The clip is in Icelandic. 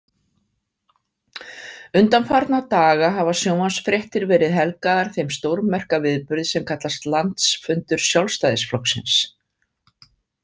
Undanfarna daga hafa sjónvarpsfréttir verið helgaðar þeim stórmerka viðburði sem kallast Landsfundur Sjálfstæðisflokksins.